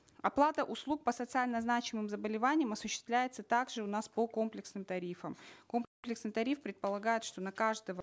оплата услуг по социально значимым заболеваниям осуществляется так же у нас по комплексным тарифам тариф предполагает что на каждого